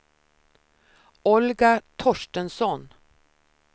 Olga Torstensson